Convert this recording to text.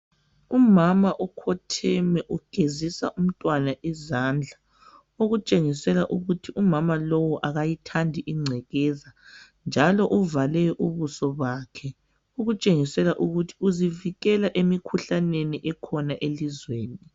Umama ukhotheme ugezisa umntwana izandla okutshengisela ukuthi umama lowu akayithandi ingcekeza njalo uvale ubuso bakhe okutshengisela ukuthi uzivikela emikhuhlaneni ekhona elizweni